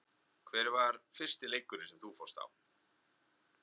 Hver var fyrsti leikurinn sem þú fórst á?